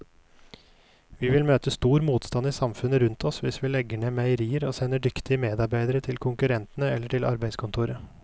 Vi vil møte stor motstand i samfunnet rundt oss hvis vi legger ned meierier og sender dyktige medarbeidere til konkurrentene eller til arbeidskontoret.